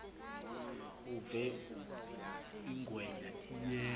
uve ingwenya iyeka